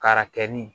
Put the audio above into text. K'a kɛ ni